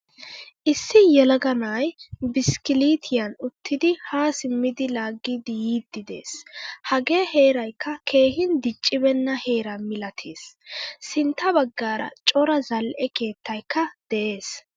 Issi yelaga na'ay biskkilittiyan uttidi ha simmidi laagidi yiidi de'ees. Hagee heeraykka keehin diccibena heera milatees. Sintta baggaara cora zal'ee keettaykka de'ees.